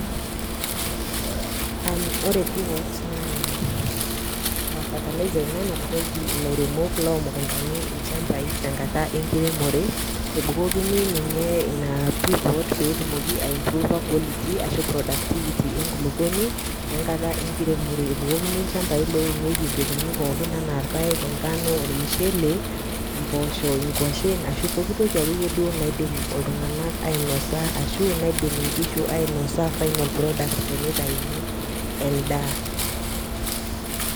Ore pivot na fertiliser ina nanbukoki ilairemok lomundani lchambai tenkata enakiremore ebukokini ninye ina pivot peyie etumoki ai mprova quality enkulukuoni enkata enkiremore ebukokini lchambai ompekuni pookin anaa irpaek, onkano ,ormushele, mpoosho ,nkwashen ashu pooki toki ake duo iyie nadim ltunganak ainosa ashu naidim nkishu ainosa final product tenitauni endaa